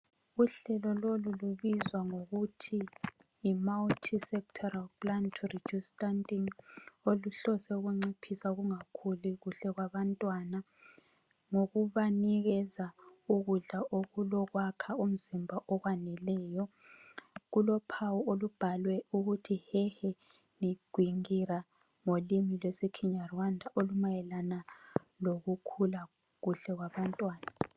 Uhlelo lolu lubizwa ngokuthi yi Multi-sectoral plan to reduce stunting oluhlose ukunciphisa ukungakhuli kuhle kwabantwana ngokubanikeza ukudla okulokwakha umzimba okwaneleyo. Kulophawu olubhalwe ukuthi Hehe n'igwingira ngolimi lwesiKenya Rwanda olumayelana ngokukhula kuhle kwabantwana.